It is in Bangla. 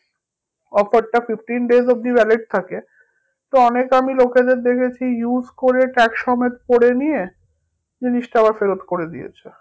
Offer টা fifteen days অবধি valid থাকে তো অনেক আমি লোকেদের দেখেছি use করে সমেত পরে নিয়ে জিনিসটা আবার ফেরত করে দিয়েছে